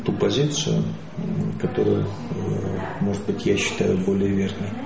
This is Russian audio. ту позицию которая может быть я считаю более верной